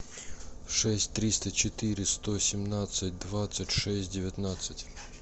шесть триста четыре сто семнадцать двадцать шесть девятнадцать